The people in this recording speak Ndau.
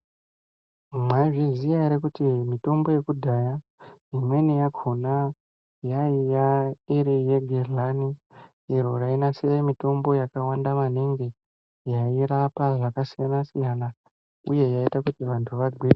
Mwaizviziya ere kuti mitombo yekudhaya imweni yakona yaiya iriyegehlani iro rayinasire mitombo yakawanda maningi yairapa zvakasiyana siyana uye yaiita kuti vantu vagwinye.